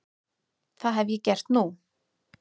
Það hef ég gert nú.